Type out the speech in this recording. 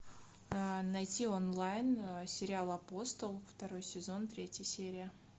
найти онлайн сериал апостол второй сезон третья серия